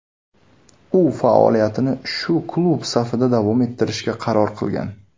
U faoliyatini shu klub safida davom ettirishga qaror qilgan.